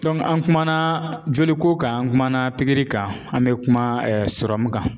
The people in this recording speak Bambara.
an kumana joliko kan an kumana pikiri kan, an be kuma kan.